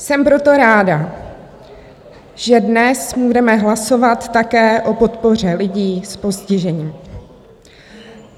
Jsem proto ráda, že dnes budeme hlasovat také o podpoře lidí s postižením.